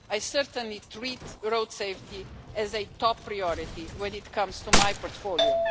I certainly treat road safety as a top priority when it comes to my portfolio.